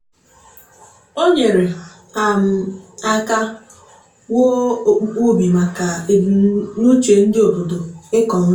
o nyere um aka wuo okpukpu ubi maka ebunuche ndị obodo ịkọ nri.